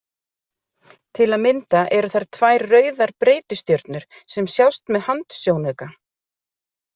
Til að mynda eru þar tvær rauðar breytistjörnur sem sjást með handsjónauka.